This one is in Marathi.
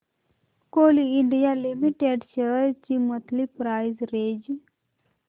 कोल इंडिया लिमिटेड शेअर्स ची मंथली प्राइस रेंज